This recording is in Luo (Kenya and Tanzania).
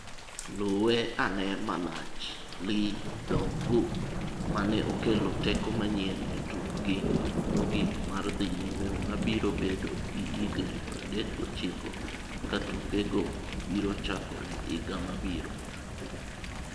Luwe ane malach Lee Dong-gook mane okelo teko manyien e tukgi mogik mar dhi nyime mabiro bedo gi higni 39 katukego biro chakore higa mabiro.